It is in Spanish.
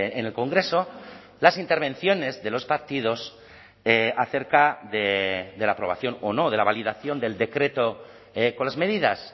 en el congreso las intervenciones de los partidos acerca de la aprobación o no de la validación del decreto con las medidas